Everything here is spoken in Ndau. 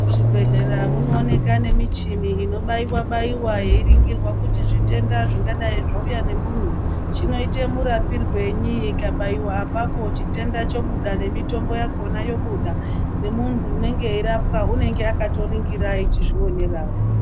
Muzvibhehlera munowanika nemichini inobaiwa baiwa yeiringirwa kuti zvitenda zvingadai zvauya nemunhu chinoite murapirwenyi. Ndikabaiwa apapo chitenda chobuda nemitombo yakona yobuda nemunhu unenge eirapwa anenge akatoringira eichizvionera.